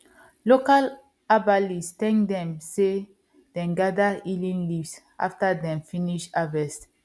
local herbalist thank dem say dem gather healing leaves after dem finish harvest